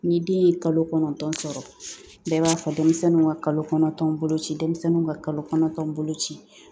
Ni den ye kalo kɔnɔntɔn sɔrɔ bɛɛ b'a fɔ denmisɛnninw ka kalo kɔnɔntɔn boloci denmisɛnnuw ka kalo kɔnɔntɔn boloci